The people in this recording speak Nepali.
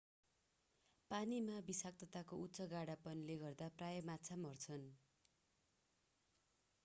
पानीमा विषाक्तताको उच्च गाढापनले गर्दा प्रायः माछा मर्छन्